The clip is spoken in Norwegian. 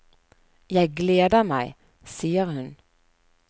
Jeg gleder meg, sier hun.